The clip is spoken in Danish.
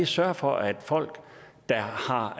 sørge for at folk der har